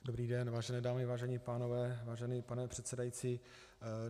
Dobrý den, vážené dámy, vážení pánové, vážený pane předsedající.